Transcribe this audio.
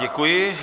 Děkuji.